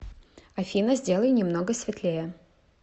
афина сделай немного светлее